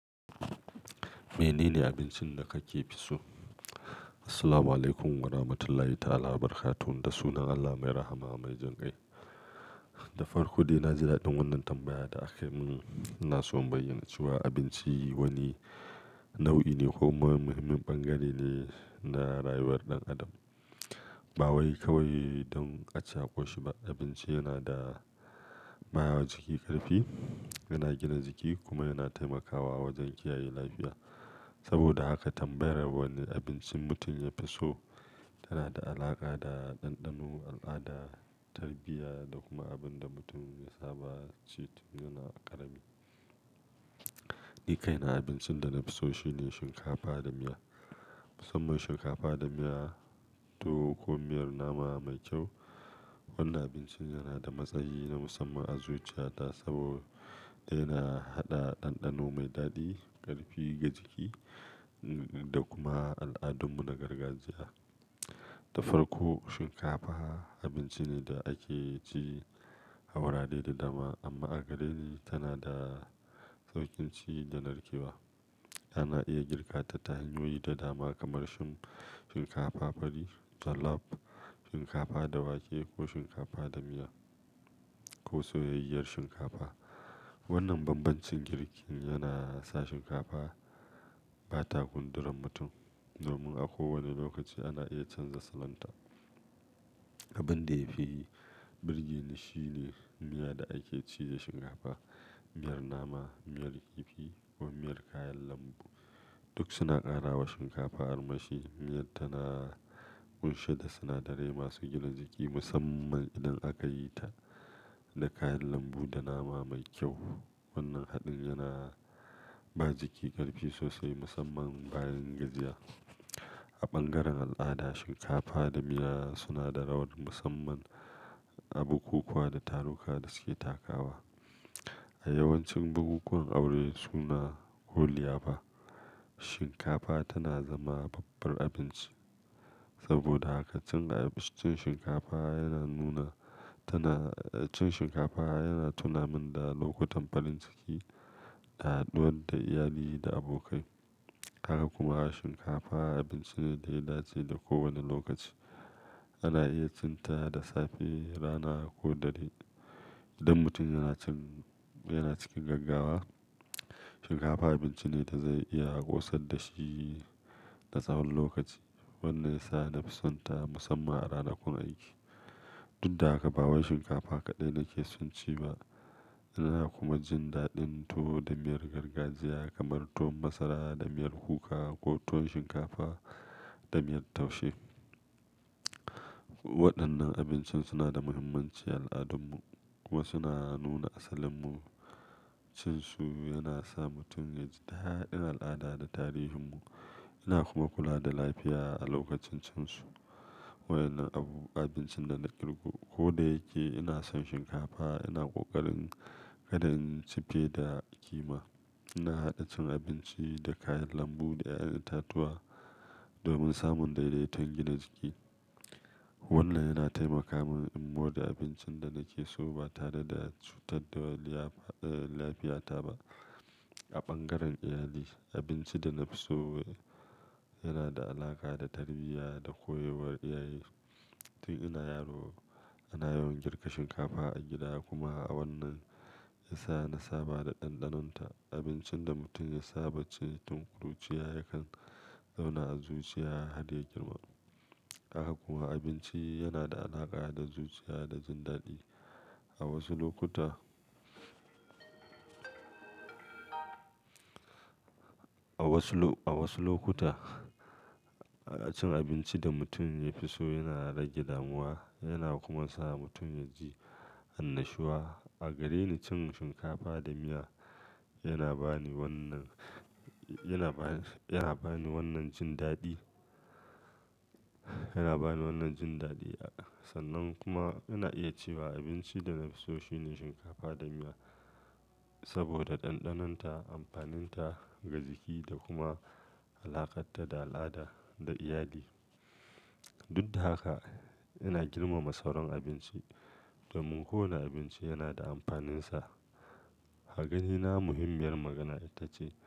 Me nene abincin da kake fi so? Assalamualaikum warahmatullahi ta'ala barakatuhu. Da sunan Allah mai rahama mai jan kai. Da farko dai na ji daɗin wannan tambaya da aka yi min. Ina so in bayyana cewa abinci wani nau'i ne ko ma muhimmin bangare ne na rayuwar ɗan adam. Ba waye kawai don a ci a ƙoshi ba, abinci yana bawa jiki ƙarfi, yana gina jiki kuma yana taimakawa wajen kiyaye lafiya. Saboda haka tambayar wane abincin mutum ya fi so tana da alaƙa da ɗanɗano, al'ada, tarbiyya da kuma abin da mutum ya saba ci tun yana ƙarami. Ni kai na abincin da na fi so shine shinkafa da miya. Musamman shinkafa da miya tuwo ko miyar nama mai kyau. Wannan abincin yana da matsayi na musamman a zuciyata saboda yana haɗa ɗanɗano mai daɗi, ƙarfi ga jiki da kuma al'adunmu na gargajiya. Da farko shinkafa abinci ne da ake ci a wurare da dama amma a gareni tana da saukin ci da narkewa. Ana iya girka ta hanyoyi da dama kamar shinkafa fari, jollof, shinkafa da wake ko shinkafa da miya ko soyayyar shinkafa. Wannan bambancin girki yana sa shinkafa ba ta gundura mutum domin a kowane lokaci ana iya canza salon ta. Abin da ya fi burge ni shine miya da ake ci da shinkafa. Miyar nama, miyar kifi ko miyar kayan lambu duk suna ƙara wa shinkafa armashi. Miyar tana ƙunshe da sinadarai masu gina jiki musamman idan aka yi ta da kayan lambu da nama mai kyau. Wannan haɗin yana ba jiki ƙarfi sosai musamman bayan gajiya. A bangaren al'ada shinkafa da miya suna da rawar musamman a bukukuwa da taruka da suke takawa. A yawancin bukukuwan aure suna ko liyafa shinkafa tana zama babbar abinci. Saboda haka cin shinkafa yana nuna tana-- cin shinkafa yana tunamin da lokutan farin ciki, haduwa da iyali da abokai. Haka kuma shinkafa abinci ne da ya dace da kowane lokaci. Ana iya cin ta da safe, rana ko dare. Idan mutum yana cikin gaggawa shinkafa abinci ne da zai iya ƙosar da shi na tsawon lokaci. Wannan ya sa na fi son ta musamman a ranakun aiki. Tun da haka ba wai shinkafa kaɗai nake son ci ba. Ina kuma jin daɗin tuwo da miyar gargajiya kamar tuwon masara da miyar kuka ko tuwon shinkafa da miyar taushe. Waɗannan abinci suna da muhimmanci a al'adun mu kuma suna nuna asalin mu. Cin su yana sa mutum ya ji daɗin al'ada da tarihin mu yana kuma kula da lafiya a lokacin cin su. Wayannan abu-- abincin da na kirgo. Ko da yake ina son shinkafa ina ƙoƙarin kada in ci fe da kima. Ina haɗa cin abinci da kayan lambu da ƴaƴan itatuwa domin samun daidaiton gina jiki. Wannan yana taimaka min in gode abincin da nake so ba tare da cutar da lafiyata ba. A bangaren iyali abinci da na fi so yana da alaƙa da tarbiyya da koyarwar iyaye. Tun ina yaro ana yawan girka shinkafa a gida kuma wannan ya sa na saba da ɗanɗanonta. Abincin da mutum ya saba cin tun kuruciya yakan zauna a zuciya har ya girma. Haka kuwa abinci yana da alaƙa da zuciya da jin daɗi. A wasu lokuta a wasu lokuta cin abinci da mutum ya fi so yana rage damuwa yana kuma sa mutum ya ji annashuwa. A gare ni cin shinkafa da miya yana ba ni wannan, yana ba ni wannan jin daɗi. Yana ba ni wannan jin daɗi. Sannan kuma ana iya cewa abinci da na fi so shine shinkafa da miya saboda ɗanɗanonta, amfaninta ga jiki da kuma alaƙarta da al'ada da iyali. Tun da haka ina girmama sauran abinci domin kowane abinci yana da amfaninsa. A gareni muhimmiyar magana ita ce.